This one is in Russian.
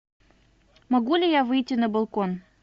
могу ли я выйти на балкон